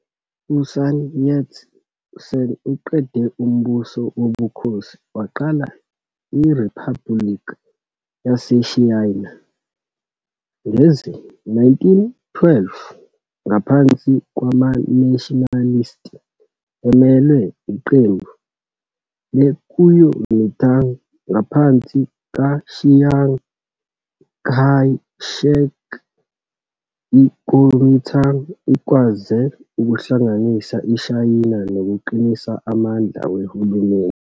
U-Sun Yat Sen uqede umbuso wobukhosi waqala iRiphabhuliki yaseShayina ngezi-1912 ngaphansi kwamaNationalist, emelwe iqembu leKuomintang. Ngaphansi kaChiang Kai Shek, iKuomintang ikwaze ukuhlanganisa iShayina nokuqinisa amandla wehulumeni.